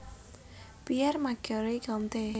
Pierre Macherey Comte